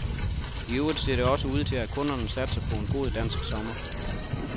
I øvrigt ser det også ud til, at kunderne satser på en god dansk sommer.